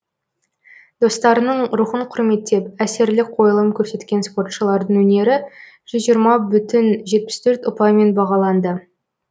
достарының рухын құрметтеп әсерлі қойылым көрсеткен спортшылардың өнері жүз жиырма бүтін жетпіс төрт ұпаймен бағаланды